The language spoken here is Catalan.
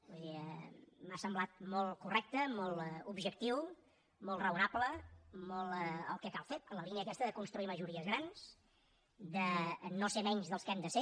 vull dir m’ha semblat molt correcte molt objectiu molt raonable molt el que cal fer en la línia aquesta de construir majories grans de no ser menys dels que hem de ser